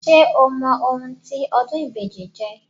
Ṣé o mọ ohun tí ọdún ìbejì jẹ́?